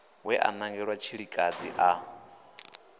we a nangelwa tshilikadzi a